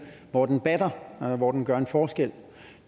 hvor den batter hvor den gør en forskel